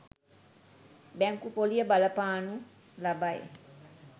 බැංකු පොලිය බලපානු ලබයි.